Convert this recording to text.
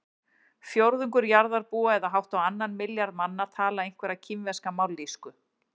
Fjórðungur jarðarbúa eða hátt á annan milljarð manna tala einhverja kínverska mállýsku.